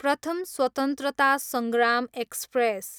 प्रथम स्वत्रन्तता सङ्ग्राम एक्सप्रेस